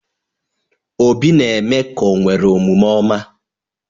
Obi na-eme ka o nwere omume ọma.